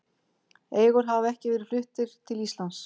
Elgir hafa ekki verið fluttir til Íslands.